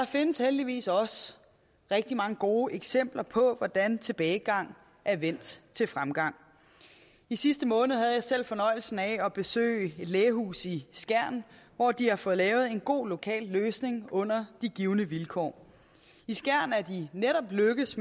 findes heldigvis også rigtig mange gode eksempler på hvordan tilbagegang er vendt til fremgang i sidste måned havde jeg selv fornøjelsen af at besøge et lægehus i skjern hvor de har fået lavet en god lokal løsning under de givne vilkår i skjern er det netop lykkedes